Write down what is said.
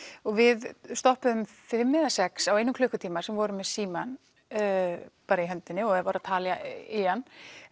og við stoppuðum fimm eða sex á einum klukkutíma sem voru með símann í höndinni og voru að tala í hann